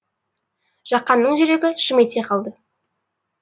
жақанның жүрегі шым ете қалды